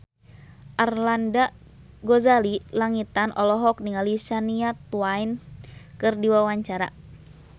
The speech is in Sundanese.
Arlanda Ghazali Langitan olohok ningali Shania Twain keur diwawancara